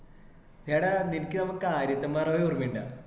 എടാ നിനക് ഞമ്മ കാര്യത്തുപ്പാറ പോയ ഓർമയുണ്ട